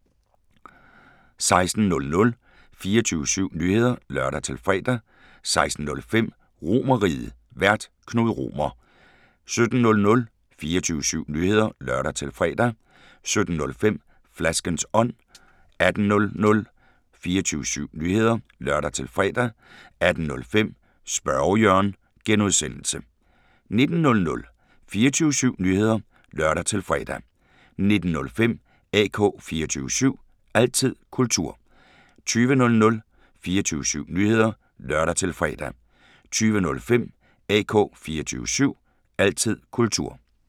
16:00: 24syv Nyheder (lør-fre) 16:05: RomerRiget, Vært: Knud Romer 17:00: 24syv Nyheder (lør-fre) 17:05: Flaskens ånd 18:00: 24syv Nyheder (lør-fre) 18:05: Spørge Jørgen (G) 19:00: 24syv Nyheder (lør-fre) 19:05: AK 24syv – altid kultur 20:00: 24syv Nyheder (lør-fre) 20:05: AK 24syv – altid kultur